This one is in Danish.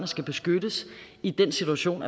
skal beskyttes i den situation